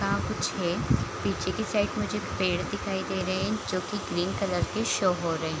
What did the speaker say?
ता कुछ है पीछे की साइड मुझे पेड़ दिखाई दे रहे हैं जो की ग्रीन कलर के शो हो रहे हैं।